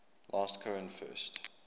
last cohen first